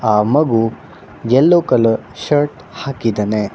ಆ ಮಗು yellow colour shirt ಹಾಕಿದ್ದಾನೆ.